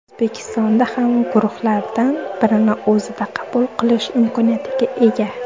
O‘zbekiston ham guruhlardan birini o‘zida qabul qilish imkoniyatiga ega.